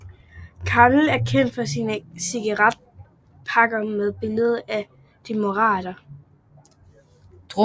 Camel er kendt for sine cigaretpakker med et billede af en dromedar